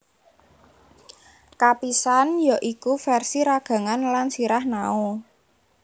Kapisan ya iku versi ragangan lan sirah Nao